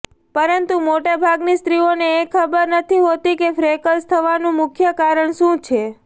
પરંતુ મોટા ભાગની સ્ત્રીઓને એ ખબર નથી હોતી કે ફ્રેકલ્સ થવાનું મુખ્ય કારણ શું છે